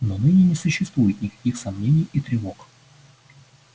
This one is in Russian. но ныне не существует никаких сомнений и тревог